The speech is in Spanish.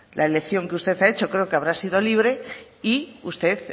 la elección que usted ha hecho creo que habrá sido libre y usted